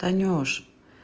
танюш